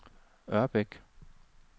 Ørbæk